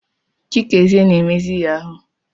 Chikezie na emezi yahoo.